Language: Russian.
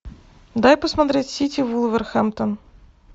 дай посмотреть сити вулверхэмптон